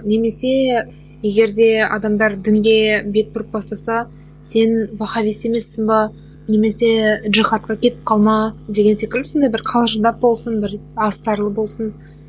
немесе егер де адамдар дінге бет бұрып бастаса сен вахаббист емессің бе немесе джихадқа кетіп қалма деген секілді сондай бір қалжыңдап болсын бір астарлы болсын